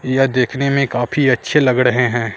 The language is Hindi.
यह देखने में काफी अच्छे लग रहे हैं।